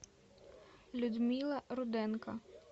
людмила руденко